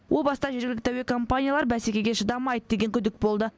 о баста жергілікті әуекомпаниялар бәсекеге шыдамайды деген күдік болды